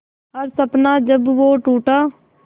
हर सपना जब वो टूटा